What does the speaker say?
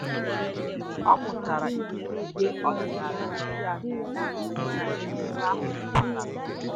Ọ́ mụ́tàrà ihe uwe ọ́dị́nála ndị a na-eyí na emume ahụ́ pụ́tàrà.